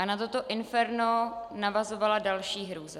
A na toto inferno navazovala další hrůza.